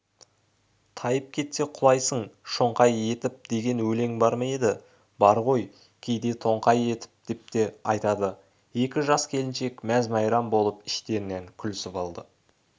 тайып кетсе құлайсың шоңқай етіп деген өлең бар ма еді бар ғой кейде тоңқай етіп деп те айтады екі жас келіншек мәз-мейрам болып іштерінен күлісіп алды